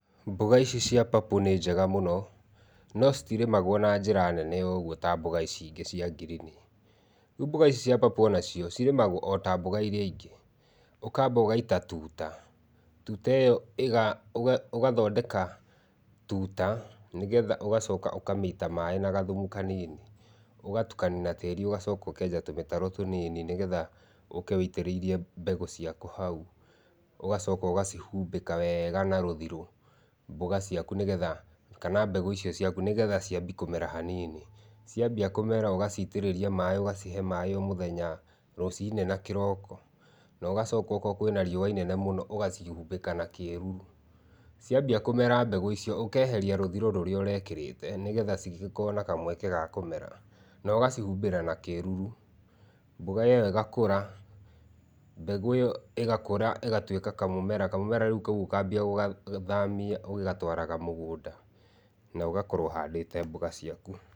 Mboga ici cia purple nĩ njega mũno, no citirĩmagwo na njĩra nene ũguo ta mboga ici ingĩ cia ngirini. Rĩu mboga ici cia purple onacio cirĩmagwo ota mboga iria ingĩ. Ũkamba ũgaita tuta. Tuta ĩyo ĩga ũgathondeka tuta nĩ getha ũgacoka ũkamĩita maĩ na gathumu kanini. Ũgatukania na tĩri ũgacoka ũkenja tũmĩtaro tũnini nĩgetha ũke wĩitĩrĩirie mbegũ ciaku hau, ũgacoka ũgacihumbĩka wega na rũthirũ, mboga ciaku nĩgetha, kana mbegũ icio ciaku nĩgetha ciambie kũmera hanini. Ciambia kũemara ũgaciitĩrĩria maĩ ũgacihe maĩ o mũthenya, rũcinĩ na kĩroko, na ũgacoka okorwo kwĩna riũa inene mũno ũgacihumbĩka na kĩruru. Ciambia kũmera mbegũ icio, ũkeheria rũthirũ rũrĩa ũrekĩrĩte, nĩgetha cigĩkorwo na kamweke ga kũmera. Na ũgacihumbĩra na kĩruru. Mboga ĩyo ĩgakũra, mbegũ ĩyo ĩgakũra ĩgatuĩka kamũmera. Kamũmera rĩu kau ũkambia gũgathamia ũgĩgatwaraga mũgũnda, na ũgakorwo ũhandĩte mboga ciaku.